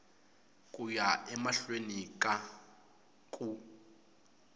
ku ya emahlweni ka ku